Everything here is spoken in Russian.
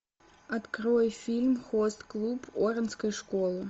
открой фильм хост клуб оранской школы